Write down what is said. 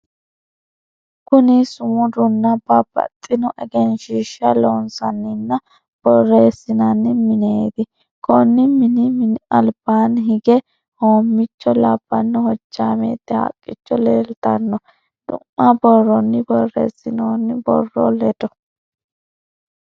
Kuni sumudanna babbaxino egensiishsha loonsanninna borreesinanni mineeti konni mini mini albaanni higge hoommiicho labbanno hojjaameette haqqicho leeltanno du'ma borronni borreessinoonni borro ledo.